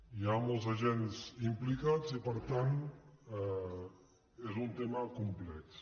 hi ha molts agents implicats i per tant és un tema complex